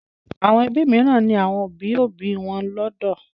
Àwọn ẹbí mìíràn ní àwọn òbí-òbí wọn lọ́dọ̀.